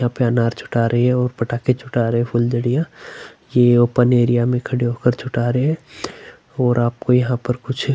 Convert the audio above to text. यहाँ पर अनार छठा रही है और पटाखे छठा रहे है फुलझरिआ की ओपन एरिया में खड़े होके छठा रहे है और आपको यहाँ पे कुछ--